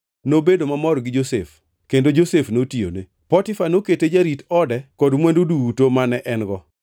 nobedo mamor gi Josef kendo Josef notiyone, Potifa nokete jarit ode kod mwandu duto mane en-go.